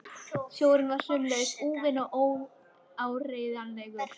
Sjórinn var sömuleiðis úfinn og óárennilegur.